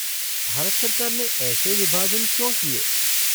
भारत सरकार ने ऐसे विभाजन क्यों किए?